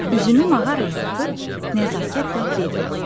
Üzünü mağaraya tutub nəzakətlə dedi: